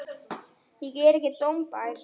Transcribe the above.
Ég er ekki dómbær.